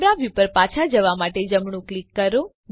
camera view પર પાછા જવા માટે જમણું ક્લિક કરો